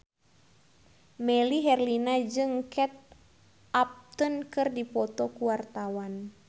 Melly Herlina jeung Kate Upton keur dipoto ku wartawan